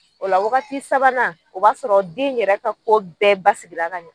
O la wagati sabanan o b'a sɔrɔ den yɛrɛ ka ko bɛɛ basigila ka ɲɛ